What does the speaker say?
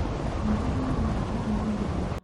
Ng'ondu nĩ nyamũ horeri mũno.